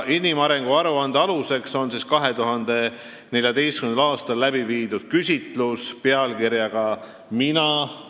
Inimarengu aruande aluseks on 2014. aastal tehtud küsitluse "Mina.